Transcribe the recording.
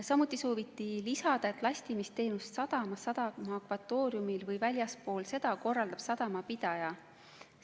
Samuti sooviti lisada, et lastimisteenust sadama akvatooriumis või väljaspool seda korraldab sadama pidaja.